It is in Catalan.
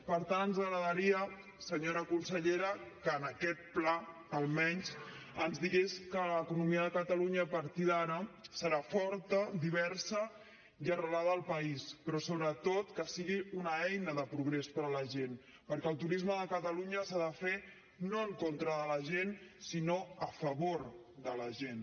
per tant ens agradaria senyora consellera que en aquest pla almenys ens digués que l’economia de catalunya a partir d’ara serà forta diversa i arrelada al país però sobretot que sigui una eina de progrés per a la gent perquè el turisme de catalunya s’ha de fer no en contra de la gent sinó a favor de la gent